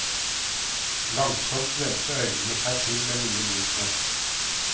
Langsomt vendte øynene seg til det nye lyset.